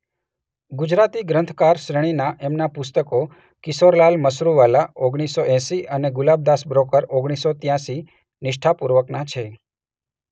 ગુજરાતી ગ્રંથકાર શ્રેણીનાં એમનાં પુસ્તકો ‘કિશોરલાલ મશરૂવાલા’ ઓગણીસ સો એંસી અને ‘ગુલાબદાસ બ્રોકર’ ઓગણીસ સો ત્યાસી નિષ્ઠાપૂર્વકનાં છે.